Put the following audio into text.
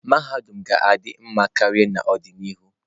Mahadum ga-adị mma karịa n'ọdịnihu.